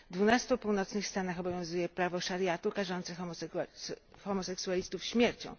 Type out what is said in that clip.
W dwunastu północnych stanach obowiązuje prawo szariatu karzące homoseksualistów śmiercią.